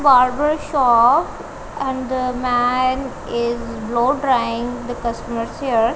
barber shop and the man is blow drying the customers hair.